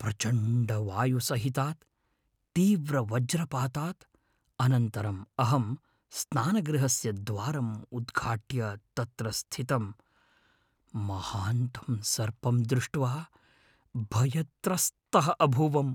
प्रचण्डवायुसहितात् तीव्रवज्रपातात् अनन्तरं अहं स्नानगृहस्य द्वारं उद्घाट्य तत्र स्थितं महान्तं सर्पं दृष्ट्वा भयत्रस्तः अभूवम्।